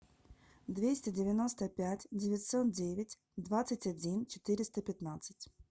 двести девяносто пять девятьсот девять двадцать один четыреста пятнадцать